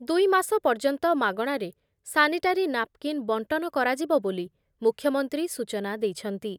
ଦୁଇ ମାସ ପର୍ଯ୍ୟନ୍ତ ମାଗଣାରେ ସାନିଟାରି ନାପ୍‌କିନ୍ ବଣ୍ଟନ କରା‌ଯିବ ବୋଲି ମୂଖ୍ୟମନ୍ତ୍ରୀ ସୂଚନା ଦେଇଛନ୍ତି ।